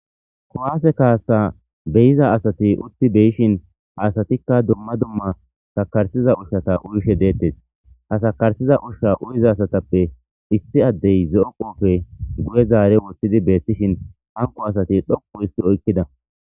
Kuwase kasa beyiza asat utid de'shn ha asatika dumma dumma sakarisza ushata uyishe detes. Ha sakarsuza Usha uyiza asatappe issay zo'o kote guye zar wothid betishn hanko asat dhoqu hist oykida .